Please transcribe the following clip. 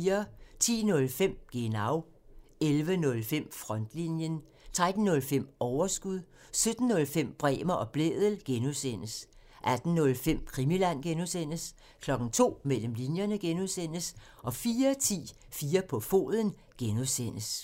10:05: Genau (tir) 11:05: Frontlinjen (tir) 13:05: Overskud (tir) 17:05: Bremer og Blædel (G) (tir) 18:05: Krimiland (G) (tir) 02:00: Mellem linjerne (G) (tir) 04:10: 4 på foden (G) (tir)